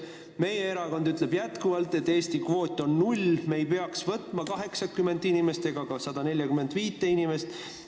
Meie erakond kinnitab jätkuvalt, et Eesti kvoot on null, me ei peaks vastu võtma ei 80 ega ka 145 inimest.